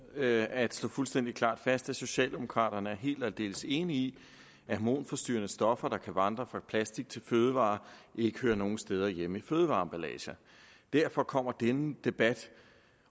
med at slå fuldstændig klart fast at socialdemokraterne er helt og aldeles enige i at hormonforstyrrende stoffer der kan vandre fra plastik til fødevarer ikke hører nogen steder hjemme i fødevareemballager derfor kommer denne debat